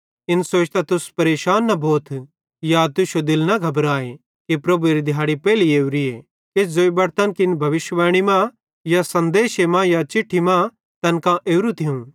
इन सोचतां तुस परेशान न भोथ या तुश्शो दिल न घबराए कि प्रभुएरी दिहाड़ी पेइली ओरिए किछ ज़ोई बटतन कि इन भविष्यिवाणी मां या सन्देशे मां या चिट्ठी मां तैन कां ओरू थियूं